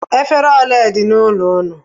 Efere ole dị n'ụlọ ụnụ?